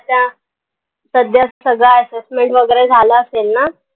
आता सध्या सगळं आस झाला असेल ना?